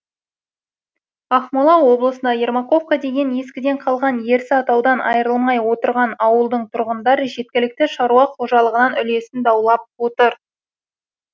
ақмола облысындағы ермаковка деген ескіден қалған ерсі атаудан айырылмай отырған ауылдың тұрғындар жергілікті шаруа қожалығынан үлесін даулап отыр